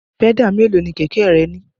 Pẹ́dà mélòó ni kẹ̀kẹ́ rẹ ní?